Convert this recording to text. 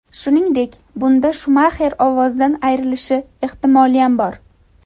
Shuningdek, bunda Shumaxer ovozidan ayrilishi ehtimoliyam bor.